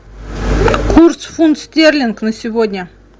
курс фунт стерлинг на сегодня